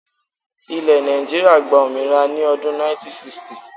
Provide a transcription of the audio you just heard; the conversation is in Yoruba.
Ilẹ́ Nàìjíríà gba òmìnira ní odún 1960